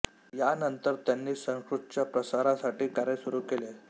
या नंतर त्यांनी संस्कृतच्या प्रसारासाठी कार्य सुरू केले